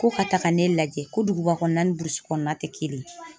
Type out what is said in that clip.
Ko ka taaga ne lajɛ ko duguba kɔnɔna ni burusi kɔnɔna tɛ kelen ye.